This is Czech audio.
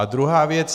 A druhá věc.